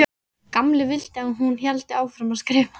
Gamli vildi að hún héldi áfram að skrifa.